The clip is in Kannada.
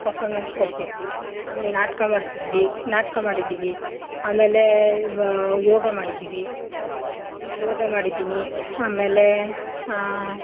Performance ಕೊಡ್ತಿದ್ವಿ, ಅಮೇಲ್ ನಾಟ್ಕ ಮಾಡ್ತಿದ್ವಿ, ನಾಟ್ಕ ಮಾಡಿದಿವಿ, ಆಮೇಲೆ ಮಾ ಯೋಗ ಮಾಡಿದಿವಿ, ಯೋಗ ಮಾಡಿದಿನಿ ಆಮೇಲೆ ಆಹ್